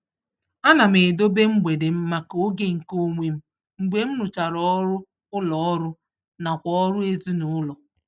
Ana m edobe mgbede m maka oge nke onwe m mgbe m rụchara ọrụ ụlọọrụ nakwa ọrụ ezinụụlọ.